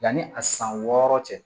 Yanni a san wɔɔrɔ cɛ